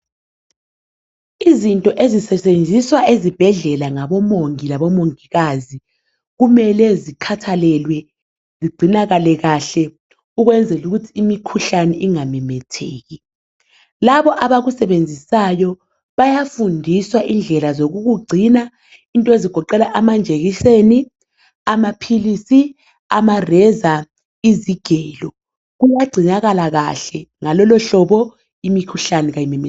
Izinto ezisetshenziswa ezibhedlela ngabomongikazi kumele zikhathalelwe zigcinwe kahle ukwenzela ukuthi imikhuhlane ingamemetheki. Laba abakusebenzisayo bayafundiswa indlela zokukugcina into ezigoqela amajekiseni, amaphilisi, amareza, izigelo kuyagcinakala kahle. Ngalolo hlobo imikhuhlane ayimemetheki.